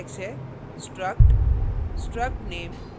इसके लिए syntax है